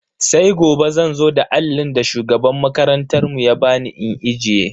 Sai gobe zan zo da allin da shugaban makarantar mu ba bani in ajiye.